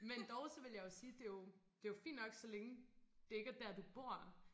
Men dog så ville jeg jo sige det jo det jo fint nok så længe det ikke er der du bor